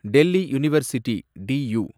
Delhi university, due